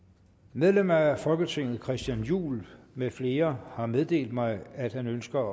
medlemmer af folketinget christian juhl med flere har meddelt mig at de ønsker